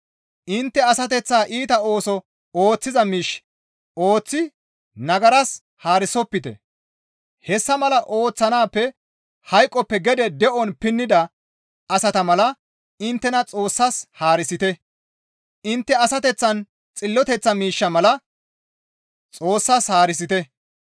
Intte asateththaa iita ooso ooththiza miish ooththi nagaras haarisopite; hessa mala ooththanaappe hayqoppe gede de7on pinnida asata mala inttena Xoossas haarisite; intte asateththaa xilloteththa miishsha mala Xoossas haarisite.